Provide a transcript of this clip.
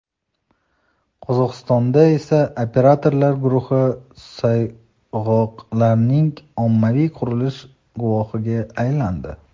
Qozog‘istonda esa operatorlar guruhi sayg‘oqlarning ommaviy qirilishi guvohiga aylandi.